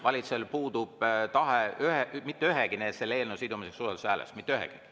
Valitsusel puudub tahe ühegi eelnõu sidumiseks usaldushääletusega, mitte ühegi.